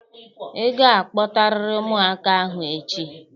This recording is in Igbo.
Ị ga-akpọtarịrị ụmụaka ahụ echi!